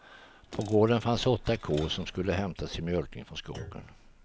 På gården fanns åtta kor, som skulle hämtas till mjölkningen från skogen.